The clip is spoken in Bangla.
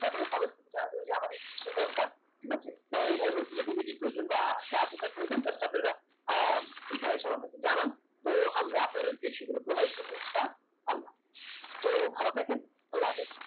তারপরে comment করতে আমাদের দরকার ঠিক আছে আমার এই ভাই বলছিল DVD র প্রয়োজন just আপনারা আহ এখানে এসে আমাকে জানান তো আমরা আপনাদেরকে সেটা provide করবো ইনশাল্লাহ তো ভালো থাকেন আল্লাহ্‌ হাফিস